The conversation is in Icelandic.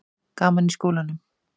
Gaman í skólanum?